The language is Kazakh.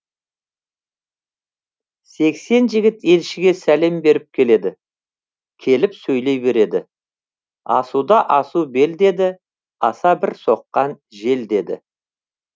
сексен жігіт елшіге сәлем беріп келеді келіп сөйлей береді асуда асу бел деді аса бір соққан жел деді